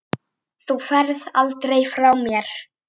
Þú ferð aldrei frá mér.